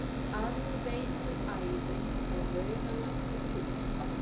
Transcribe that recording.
Aðveituæðin frá Laugalandi til